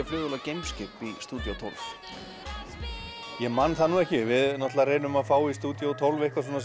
flugvél og geimskip í stúdíó tólf ég man það nú ekki við náttúrulega reynum að fá í stúdíó tólf eitthvað svona